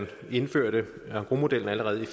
indførte engrosmodellen allerede i